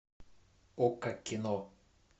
окко кино